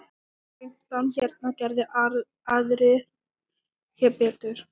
Fimmtán hérna, geri aðrir betur!